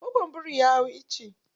Gogon birin ya hau icce.